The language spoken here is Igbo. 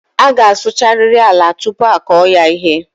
A gá a sụchariri ala tupu a kụọ ya ihe